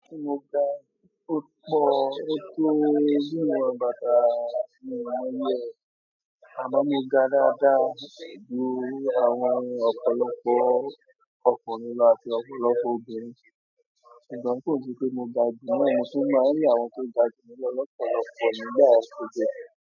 Mo gà púpọ̀, ó tó bí iwon bátà, mi n mọ iyè e. Àmo mo gà dáadáa ju àwọn ọ̀pọ̀lọpọ̀ ọkùnrin lọ àti ọ̀pọ̀lọpọ̀ obìnrin. Ṣùgbọ́n kó se pé mò ga jù náà, mo tún maa ní àwọn tó gà jù mi lo lọ́pọ̀lọpọ̀ nígbà yen ko je.